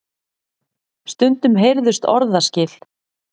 Stundum heyrðust orðaskil.